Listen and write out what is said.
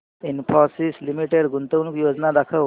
Infosys Limited गुंतवणूक योजना दाखव